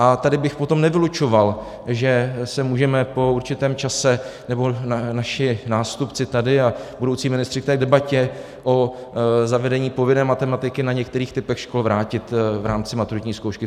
A tady bychom potom nevylučoval, že se můžeme po určitém čase, nebo naši nástupci tady a budoucí ministři, k té debatě o zavedení povinné matematiky na některých typech škol vrátit v rámci maturitní zkoušky.